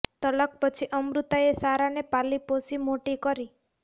તલાક પછી અમૃતાએ સારાને પાલી પોસી મોટી કરી છે